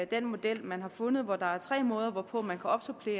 den model man har fundet hvor der er tre måder hvorpå man kan opsupplere